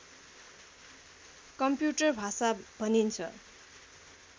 computer भाषा भनिन्छ